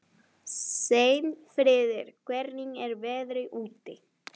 Steinfríður, hvernig er veðrið úti?